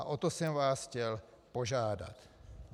A o to jsem vás chtěl požádat.